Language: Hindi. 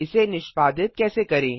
इसे निष्पादित कैसे करें